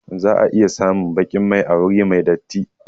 Za a iya samun baƙin mai a wuri mai datti